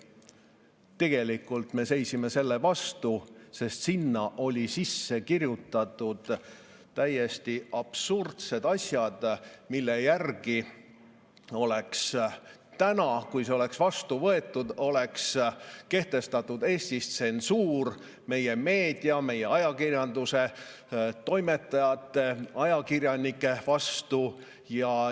Tegelikult me seisime selle vastu sellepärast, et sinna olid sisse kirjutatud täiesti absurdsed asjad, mille järgi oleks siis, kui see oleks vastu võetud, kehtestatud Eestis tsensuur meie meedia, meie ajakirjanduse, toimetajate ja ajakirjanike üle.